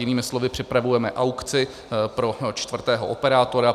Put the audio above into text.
Jinými slovy, připravujeme aukci pro čtvrtého operátora.